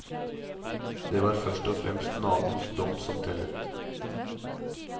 Det var først og fremst naboens dom som tellet.